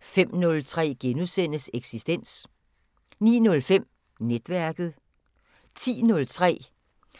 05:03: Eksistens * 09:05: Netværket 10:03: